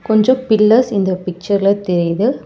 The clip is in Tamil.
கொஞ்ஜோ பில்லர்ஸ் இந்த பிச்சர்ல தெரிது.